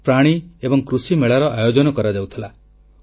କୃଷକମାନଙ୍କ ପ୍ରତ୍ୟେକ କ୍ଷେତ୍ରରେ ଉନ୍ନତି ହେଉ ଏହାକୁ ସେ ପ୍ରାଥମିକତା ଦେଉଥିଲେ